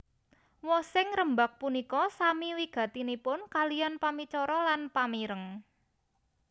Wosing rembag punika sami wigatinipun kaliyan pamicara lan pamireng